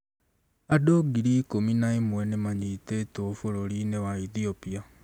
Andũ ngiri ikumi na ĩmwe nĩ manyitĩtwo bũrũri-inĩ wa Ethiopia.